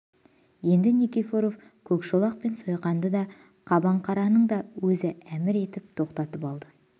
енді никифоров көкшолақ пен сойқанды да қабаңқараны да өзі әмір етіп тоқтатып алды